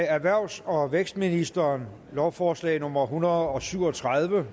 erhvervs og vækstministeren lovforslag nummer en hundrede og syv og tredive